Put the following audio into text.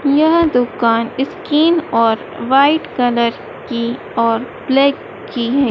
यह दुकान स्कीन और वाइट कलर की और ब्लैक की है।